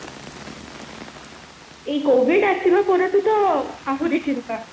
ଏଇ covid ଆସିଲା ପରଠୁ ତ ଆହୁରି ଚିନ୍ତା